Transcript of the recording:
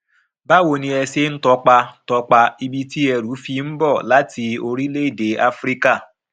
báwo ni ẹ ṣe ń tọpa tọpa ibi tí ẹrù fi ń bọ láti orílẹèdè áfíríkà